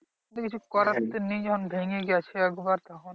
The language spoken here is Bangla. তো কিছু করার তো নেই যখন ভেঙ্গেই গেছে একবার তখন।